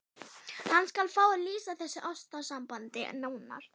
Hann skal fá að lýsa þessu ástarsambandi nánar.